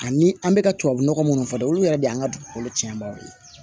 Ani an bɛ ka tubabu nɔgɔ minnu fɔ dɛ olu yɛrɛ de y'an ka dugukolo tiɲɛ banbaw ye